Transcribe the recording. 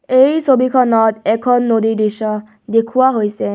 এই ছবিখনত এখন নদীৰ দৃশ্য দেখুওৱা হৈছে.